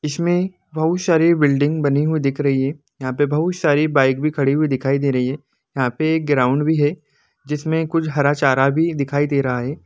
इसमे बहोत सारी बिल्डिंग बनी हुई दिख रही है यहा पे बहोत सारी बाइक भी खड़ी हुई दिखाई दे रही है यह पर एक ग्राउन्ड भी है जिस्मए कुछ हरा चारा भी दिखाई दे रहा है।